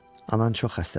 Anan çox xəstədir.